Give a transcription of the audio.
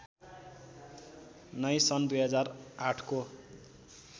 नै सन् २००८ को